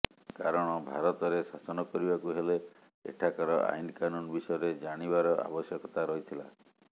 କାରଣ ଭାରତରେ ଶାସନ କରିବାକୁ ହେଲେ ଏଠାକାର ଆଇନ କାନୁନ ବିଷୟରେ ଜାଣିବାର ଆବଶ୍ୟକତା ରହିଥିଲା